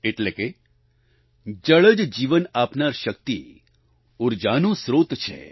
એટલે કે જળ જ જીવન આપનાર શક્તિ ઉર્જાનો સ્ત્રોત છે